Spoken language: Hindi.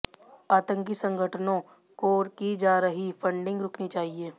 आतंकी संगठनों को की जा रही फंडिंग रुकनी चाहिए